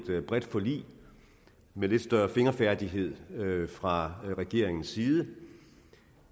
bredt forlig med lidt større fingerfærdighed fra regeringens side